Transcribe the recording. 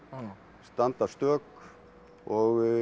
standa stök og